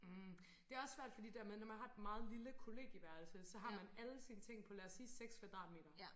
Hm det også svært fordi det med når man har et meget lille kollegieværelse så har man alle sine ting på lad os sige 6 kvadratmeter